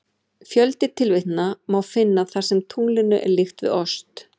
Fjölda tilvitnana má finna þar sem tunglinu er líkt við ost.